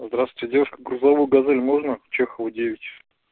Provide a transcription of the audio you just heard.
здравствуйте девушка грузовую газель можно чехова девять